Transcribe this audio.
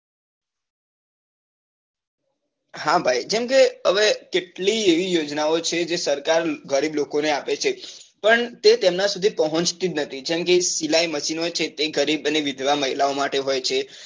હા ભાઈ જેમ કે હવે કેટલી એવી યોજના છે જે સરકાર ગરીબ લોકો ને આપે છે પણ તે તેમના સુધી પહોચતી જ નથી જેમ કે સિલાઈ machine હોય છે તે ગરી અને વિધવા મહિલા ઓ માટે હોય છે તેમ